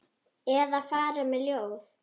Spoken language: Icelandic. Eða fara með ljóð.